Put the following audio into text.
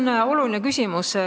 See on oluline küsimus.